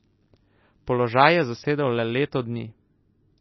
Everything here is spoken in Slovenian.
Položaj je zasedal le leto dni.